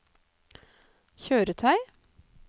kjøretøy